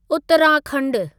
उत्तराखंडु